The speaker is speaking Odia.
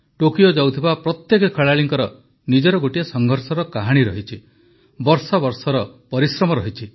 ଟୋକିଓ ଯାଉଥିବା ପ୍ରତ୍ୟେକ ଖେଳାଳିଙ୍କର ନିଜର ଗୋଟିଏ ସଂଘର୍ଷର କାହାଣୀ ରହିଛି ବର୍ଷ ବର୍ଷର ପରିଶ୍ରମ ରହିଛି